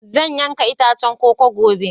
Zan yanka itacen koko gobe.